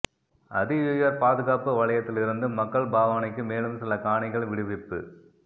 அதியுயர் பாதுகாப்பு வலயத்திலிருந்து மக்கள் பாவனைக்கு மேலும் சில காணிகள் விடுவிப்பு